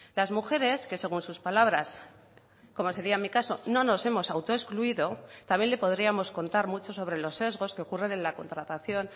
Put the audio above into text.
las mujeres que según sus palabras como sería mi caso no nos hemos autoexcluido también le podríamos contar mucho sobre los sesgos que ocurren en la contratación